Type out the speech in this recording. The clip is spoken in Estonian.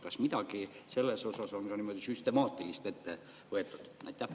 Kas midagi on selles osas ka süstemaatilist ette võetud?